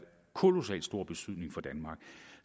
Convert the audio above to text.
kolossal stor betydning for danmark